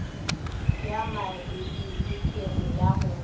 ya mabili kere ya go